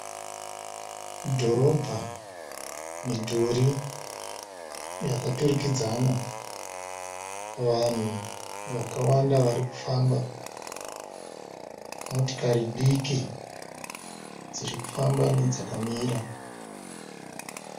Dhorobha midhuri yakaturikidzana. Vanhu vakawanda varikufamba. Motikari diki dzirikufamba nedzakamira.